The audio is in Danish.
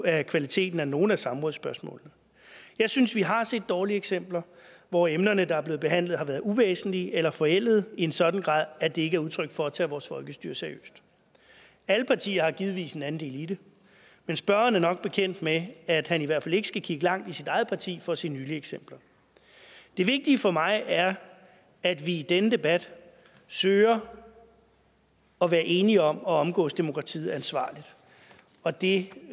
af kvaliteten af nogle af samrådsspørgsmålene jeg synes vi har set dårlige eksempler hvor emnerne der er blevet behandlet har været uvæsentlige eller forældede i en sådan grad at det ikke er udtryk for at tage vores folkestyre seriøst alle partier har givetvis en andel i det men spørgeren er nok bekendt med at han i hvert fald ikke skal kigge langt i sit eget parti for at se nylige eksempler det vigtige for mig er at vi i denne debat søger at være enige om at omgås demokratiet ansvarligt og det